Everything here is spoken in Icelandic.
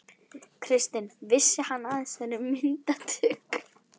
Kristinn: Vissi hann af þessi myndatöku?